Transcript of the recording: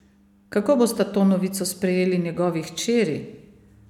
Kako bosta to novico sprejeli njegovi hčeri?